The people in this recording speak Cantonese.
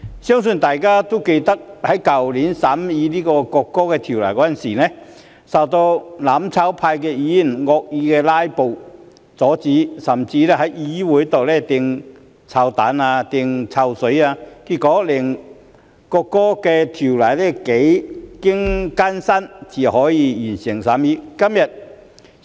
相信大家還記得，去年我們在審議《國歌條例草案》時，遭到"攬炒派"議員惡意"拉布"阻止，甚至在議會上擲臭蛋、潑臭水，結果我們幾經艱辛才能完成審議《國歌條例草案》。